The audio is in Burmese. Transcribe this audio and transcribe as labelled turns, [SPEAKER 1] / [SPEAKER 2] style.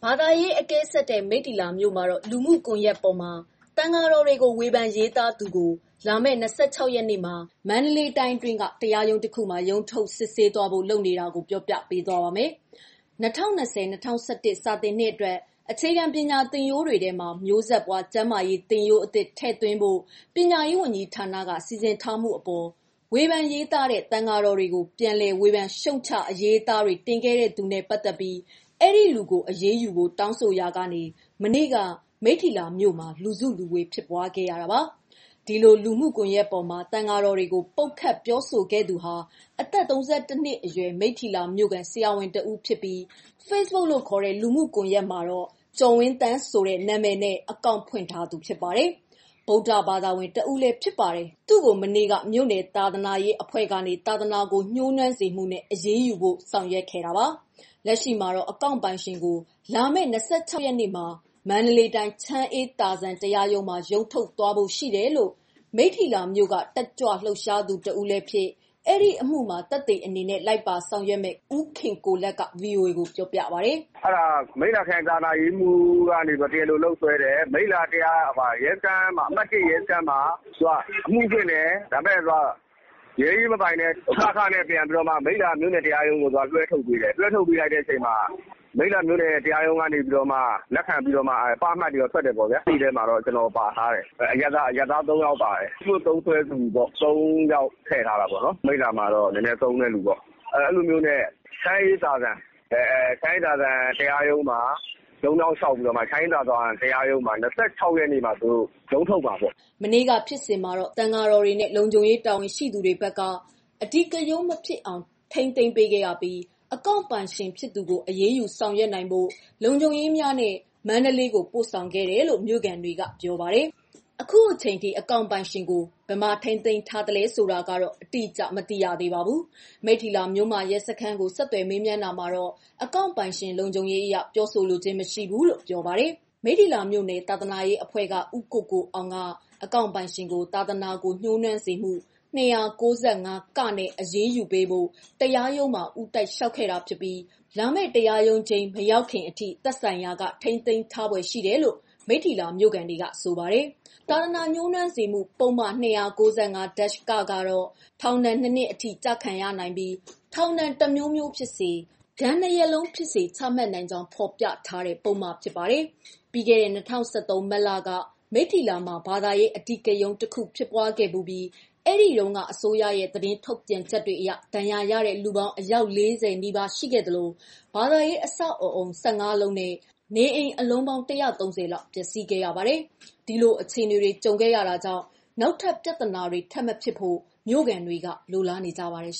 [SPEAKER 1] ာသာရေးအကဲဆတ်တဲ့ မိတ္တီလာမြို့မှာတော့ လူမှုကွန်ယက်ပေါ်မှာ သံဃာတော်တွေကို ဝေဖန်ရေးသားသူ ကို လာမယ့် ၂၆ရက်နေ့မှာ မန္တလေးတိုင်းတွင်းမှာ ရုံးထုတ်စစ်ဆေးဖို့ လုပ်ထားတာကိုပြောပြပေးပါမယ်။ ဒီအကြောင်း ဗွီအိုအေ မြန်မာပိုင်းသတင်းထောက် မမေခက သတင်းပေးပို့ထားပါတယ်။ ၂၀၂၀- ၂၀၂၁ စာသင်နှစ်အတွက် အခြေခံပညာသင်ရိုးတွေထဲမှာ မျိုးဆက်ပွား ကျန်းမာရေး သင်ရိုးအသစ်ထည့်သွင်းဖို့ ပညာရေးဝန်ကြီးဌာနက စီစဉ်ထားမှုအပေါ် ဝေဖန်ရေးသားတဲ့ သံဃာတော်တွေကို ပြန်လည် ဝေဖန်ရှုတ်ချအရေးအသားတွေ တင်ခဲ့သူနဲ့ ပတ်သက်ပြီး ဒီလူကို အရေးယူဖို့တောင်းဆိုရာ ကနေ မနေ့က မိတ္ထီလာမြို့မှာ လူစုလူ ဝေးဖြစ်ပွားခဲ့ရတာပါ။ ဒီလို လူမှုကွန်ရက်မှာ သံဃာတော်တွေကို ပုတ်ခတ်ပြောဆိုခဲ့သူဟာ အသက် ၃၁ နှစ်အရွယ် မိတ္ထီလာမြို့ခံ ဆရာဝန်တဦးဖြစ်ပြီး Facebook မှာ ကျော်ဝင်းသန့်ဆိုတဲ့ နာမည်နဲ့အကောင့်ဖွင့်ထားသူဖြစ်ပြီး၊ ဗုဒ္ဓဘာသာဝင် တဦးဖြစ်တယ်လို့လည်း ဆိုပါတယ်။ သူ့ကို မနေ့က မြို့နယ် သာသနာရေးအဖွဲ့ကနေ သာသနာကို ညှိုးနွမ်းစေမှုနဲ့ အရေးယူဖို့ ဆောင်ရွက်ခဲ့ပါတယ်။ လက်ရှိမှာ အကောင့်ပိုင်ရှင်ကို လာမယ့် ၂၆ရက်နေ့မှာ မန္တလေးတိုင်း ချမ်းအေးသာဇံတရားရုံးမှာ ရုံးထုတ်သွားဖို့ ရှိတယ်လို့ မိတ္ထီလာမြို့က တက်ကြွလှုပ်ရှားသူ တဦးဖြစ်၊ ဒီအမှုမှာ သက်သေအနေနဲ့ လိုက်ပါဆောင်ရွက်မယ့် ဦးခင်ကိုလတ်က ဗွီအိုအေကို ပြောပါတယ်
[SPEAKER 2] ။ “မိတ္ထီလာခရိုင်သာသနာရေးမှူး ကတရားလိုလုပ်ဆွဲတယ်။ မိတ္ထီလာ အမှတ် ၁ရဲစခန်းမှာ အမှုဖွင့်တယ်။ ရဲအရေးမပိုင်လို့ (က)(ခ)နဲ့ မိတ္ထီလာတရားရုံးကို လွှဲထုတ်ပေးတယ်။ မြို့နယ်တရားရုံးကလက်ခံပြီးတော့မှ (ပ) အမှတ်တွေ ထွက်တယ်။ သက်သေထဲမှာ ကျနော်ပါတယ်။ အရပ်သားအမျိုးသား ၃ယောက်ပါတယ်။ ဖေ့ဘုတ်သုံးသူ ၃ယောက်ထည့်ထားတာပေါ့။ အဲလိုနဲ့ ချမ်းအေးသာဇံ တရားရုံးမှာ ရုံးပြောင်းလျှောက်တယ်။ လာမယ့် ၂၆ရက်နေ့မှာ ရုံးထုတ်မယ်။
[SPEAKER 1] ” မနေ့က ဖြစ်စဉ်မှာ သံဃာတော်တွေနဲ့ လုံခြုံရေးတာဝန်ရှိသူတွေ ဘက်က အဓိကရုဏ်း မဖြစ်အောင် ထိန်းသိမ်းပေးခဲ့ရပြီး အကောင့်ပိုင်ရှင် ဖြစ်သူကို အရေးယူ ဆောင်ရွက်နိုင်ဖို့ လုံခြုံရေးများနဲ့ မန္တလေးကို ပို့ဆောင်ခဲ့တယ်လို့ မြို့ခံတွေက ပြောပါတယ်။ အခုအချိန်အထိ အကောင့်ပိုင်ရှင်ကို ဘယ်မှာထိန်းသိမ်းထားလဲဆိုတာ တိကျစွာမသိရပါဘူး။ မိတ္ထီလာ မြို့မ ရဲစခန်းကို ဆက်သွယ်မေးမြန်းတာမှာတော့ အကောင့်ပိုင်ရှင်လုံခြုံရေးအရ ပြောဆိုလိုခြင်းမရှိဘူးလို့ပြောပါတယ်။ မိတ္ထီလာမြို့နယ် သာသနာရေးအဖွဲ့က ဦးကိုကိုအောင်က အကောင့်ပိုင်ရှင်ကို သာသနာကို ညှိုးနွမ်းစေမှု ၂၉၅-ကနဲ့ အရေးယူပေးဖို့ တရားရုံးမှာ ဦးတိုက်လျှောက် ခဲ့တာဖြစ်ပြီး လာမယ့် တရားရုံးချိန်း မရောက်ခင် အထိ သက်ဆိုင်ရာက ထိန်းသိမ်းထားဖွယ်ရှိတယ်လို့ မိတီလာမြို့ခံတွေကဆိုပါတယ်။ သာသနာညှိုးနွမ်းစေမှု ပုဒ်မ ၂၉၅ (က) ကတော့ ထောင်ဒဏ် ၂ နှစ်အထိ ကျခံနိုင်ပြီး ထောင်ဒဏ် တစ်မျိုးမျိုးဖြစ်စေ၊ ငွေဒဏ်ဖြစ်စေ ဒဏ်နှစ် ရပ်လုံးဖြစ်စေ ချမှတ်နိုင်ကြောင်းဖော်ပြထားပြီး အာမခံမပေးတဲ့ ပုဒ်မဖြစ်ပါတယ်။ ပြီးခဲ့တဲ့၂၀၁၃ မတ်လက မိတ္ထီလာမှာ ဘာသာရေးအဓိကရုဏ်း တခု ဖြစ်ပွားခဲ့ဖူးပြီး အဲဒီတုန်းက အစိုးရရဲ့ သတင်းထုတ်ပြန်ချက်တွေအရ ဒဏ်ရာရတဲ့ လူပေါင်း အယောက် ၄၀ နီးပါးရှိခဲ့သလို ဘာသာရေး အဆောက်အအုံ ၁၅ လုံးနီးပါးနဲ့ နေအိမ်အလုံးပေါင်း ၁၃၀ လောက် ပျက်စီးခဲ့ရပါတယ်။ ဒီလို အခြေအနေတွေ ကြုံခဲ့တာကြောင့် နောက် ထပ်ပြဿနာတွေ ထပ်မဖြစ်ဖို့ မြို့ခံတွေက လိုလားနေကြပါတယ် ။